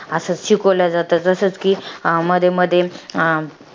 अस शिकवलं जातं. जसं कि, मध्येमध्ये